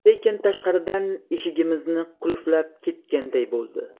Lekin tashqaridan eshigimizni qulflab ketganday bo‘ldi.